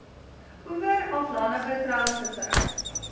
oewer aflandige treilvissery